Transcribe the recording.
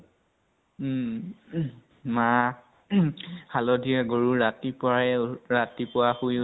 উম । মাহ হালধিৰে গৰু ৰাতিপুৱা য়ে, ৰাতিপুৱা সুই